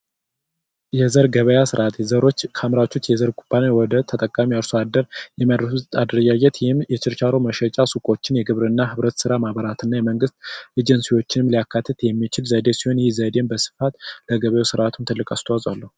የዘር ገበያ ስርዓት ዘሮች ከ አምራቾች የዘር ኩባንያ ወደ ተጠቃሚው አርሶ አደር የሚያደርጉት አደረጃጀት ይህም የቺርቻሮ መሸጫ ስኮቆቺን የግብርና ህብረት ሥራ ማህበራትን እና የመንግስት አጀንስዎቺን ሊያካትት የምቺቅ ሲሆን ይህም ዘዴ ለገበያው ትልቅ አስተዋትጽኦ አለው ።